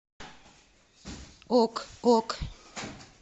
ок ок